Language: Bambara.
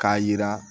K'a yira